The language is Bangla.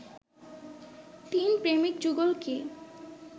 তিন প্রেমিক যুগল কি